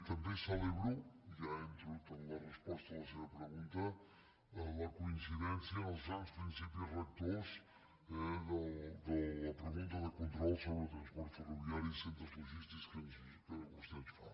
també celebro ja entro en la resposta de la seva pregunta la coincidència en els grans principis rectors de la pregunta de control sobre transport ferroviari i centres logístics que vostè ens fa